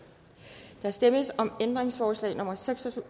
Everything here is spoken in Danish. der stemmes om ændringsforslag nummer seks